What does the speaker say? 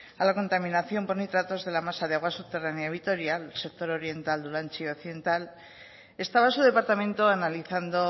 a la contaminación por nitratos de la masa de agua subterránea vitorial sector oriental dulantzi y occidental estaba su departamento analizando